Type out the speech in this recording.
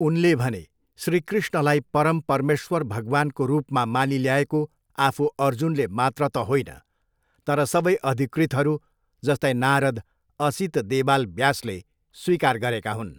उनले भने, श्रीकृष्णलाई परम परमेश्वर भगवानको रूपमा मानिल्याएको आफू अर्जुनले मात्र त होईन तर सबै अधीकृतहरू जस्तै नारद असीत देवाल ब्यासले स्वीकार गरेका हुन्।